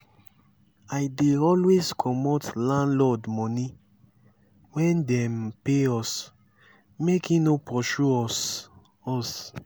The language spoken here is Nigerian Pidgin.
i dey always comot landlord moni wen dem pay us make e no pursue us. us.